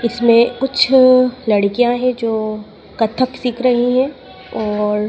इसमें कुछ लड़कियां है जो कथक सीख रही हैं और--